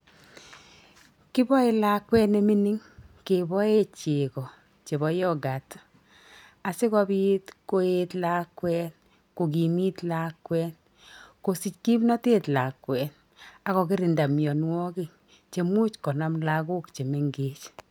Kiboe lakwet ne mining keboe chego chebo yorgut, asikobit koet lakwet, kokimit lakwet, kosich kimnotet lakwet, ako kirinda mianwogik chemuch konam lagok che mengech.